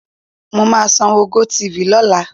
Mo máa sanwó GoTv lọ́la.